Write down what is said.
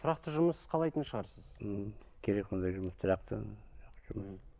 тұрақты жұмыс қалайтын шығарсыз мхм керек ондай жұмыс тұрақты